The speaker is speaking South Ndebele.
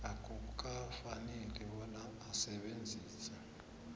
akukafaneli bona asebenzise